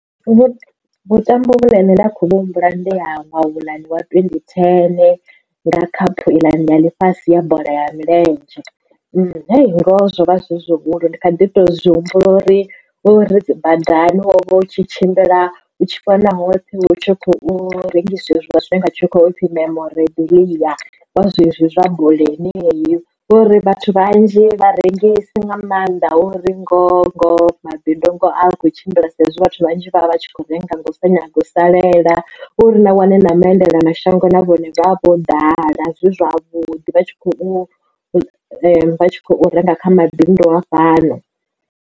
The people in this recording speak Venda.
Vhuṱambo vhune nne nda khou vhu humbula ndiha ṅwaha uḽa wa twendi thene ḽa khaphu iḽa ni ya ḽifhasi ya bola ya milenzhe zwo vha zwi zwihulu ndi kha ḓi to zwi humbula uri ri badani wo vha u tshi tshimbila u tshi wana hoṱhe hu tshi khou rengiswa hezwila zwine nga tshikhuwa zwi topfi memoredia wa zwezwi zwa bola heneyo ngori vhathu vhanzhi vha rengisi nga maanḓa hu uri ngo ngoho a kho tshimbila saizwi vhathu vhanzhi vha vha tshi kho renga nga u sa nyaga u salela uri vha wane na vhaendela mashango na vhone vha vho ḓala zwi zwavhuḓi vha tshi khou renga kha mabindu a fhano.